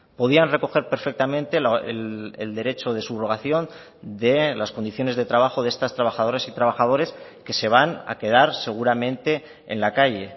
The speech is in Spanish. podían recoger perfectamente el derecho de subrogación de las condiciones de trabajo de estas trabajadoras y trabajadores que se van a quedar seguramente en la calle